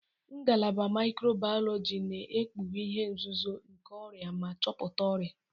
Ngalaba mikrobiologi na-ekpughe ihe nzuzo nke ọrịa ma chọpụta ọrịa.